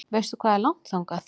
Veistu hvað er langt þangað?